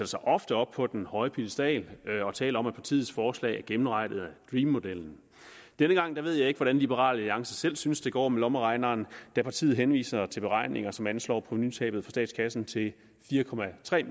sig ofte op på den høje piedestal og taler om at partiets forslag er gennemregnet af dream modellen denne gang ved jeg ikke hvordan liberal alliance selv synes det går med lommeregneren da partiet henviser til beregninger som anslår provenutabet for statskassen til fire